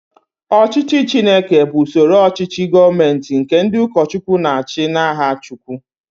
Ọchịchị Chineke bụ usoro ochichi gọọmenti nke ndị ụkọchukwu na-achi n'aha chukwu.